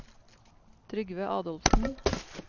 Trygve Adolfsen